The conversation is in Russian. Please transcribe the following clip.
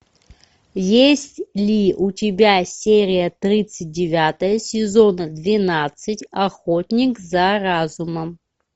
есть ли у тебя серия тридцать девятая сезона двенадцать охотник за разумом